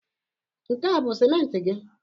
Nke a bụ simenti gị?